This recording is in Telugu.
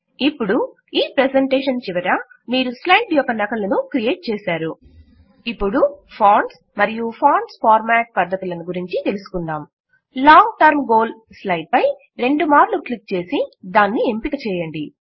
ఇప్పుడు ఈ ప్రెజెంటేషన్ చివర మీరు స్లైడ్ యొక్క నకలును క్రియేట్ చేసారు ఇప్పుడు ఫాంట్స్ మరియు ఫాంట్స్ ఫార్మాట్ పద్ధతులను తెలుసుకుందాం లాంగ్ టర్మ్ గోల్ స్లైడ్ పై రెండు మార్లు క్లిక్ చేసి దానిని ఎంపిక చేయండి